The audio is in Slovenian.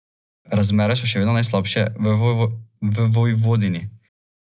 Po sinočnjem dežju so bili listi na drevesih še vlažni, vendar se bodo že do poldneva spet posušili.